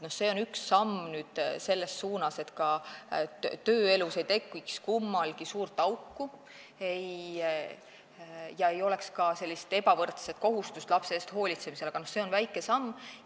See on üks samm selles suunas, et tööelus ei tekiks kummalgi suurt auku ja lapse eest hoolitsemisel ei tekiks ebavõrdseid kohustusi, aga see on väike samm.